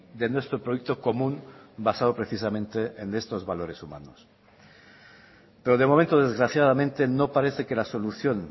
de nuestro proyecto común basado precisamente en estos valores humanos pero de momento desgraciadamente no parece que la solución